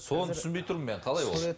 соны түсінбей тұрмын мен қалай ол